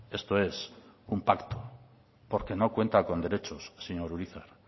esto es un pacto porque no cuentan con derechos señor urizar